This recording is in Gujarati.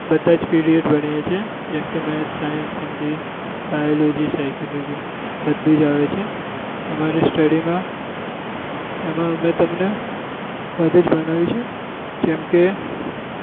બધા જ period ભણીએ છીએ maths science Hindi biology psychology બધું જ આવે છે અમારી study માં એમાં અમે તમને બધું જ ભણાવી શું જેમ કે